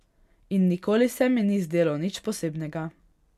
In nikoli se mi ni zdelo nič posebnega.